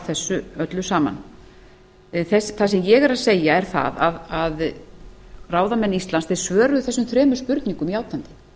þessu öllu saman það sem ég er að segja er það að ráðamenn íslands svöruðu þessum þremur spurningum játandi